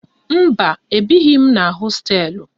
Mba, ebighi m na hosteelụ